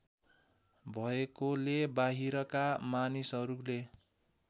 भएकोले बाहिरका मानिसहरूले